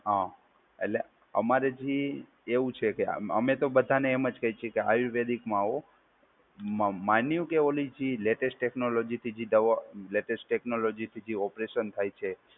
હા, એટલે અમારે થી એવું છે કે અમ અમે તો બધાને એમ જ કહે છે કે આયુર્વેદિકમાં આવો. મ માન્યું કે ઓલી ચીજ લેટેસ્ટ ટેકનોલોજીથી જે દવાઓ લેટેસ્ટ ટેકનોલોજીથી જે ઓપરેશન થાય છે,